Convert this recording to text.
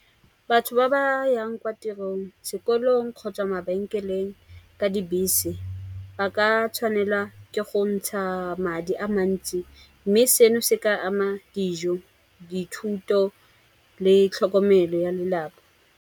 Batho ba ba yang kwa tirong, sekolong kgotsa mabenkeleng ka dibese, ba ka tshwanela ke go ntsha madi a mantsi. Mme seno se ka ama dijo, dithuto le tlhokomelo ya lelapa.